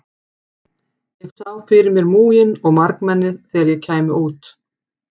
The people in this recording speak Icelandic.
Ég sá fyrir mér múginn og margmennið þegar ég kæmi út.